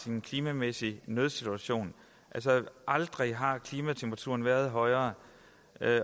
en klimamæssig nødsituation aldrig har klimatemperaturen været højere